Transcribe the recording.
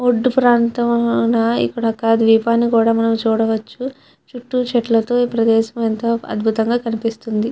ఒడ్డు ప్రాంతం ద్వీపాన్ని కూడా మనం చూడవచ్చు చుట్టూ చెట్లతో ఈ ప్రదేశం ఎంతో అద్భుతం గా కనిపిస్తుంది.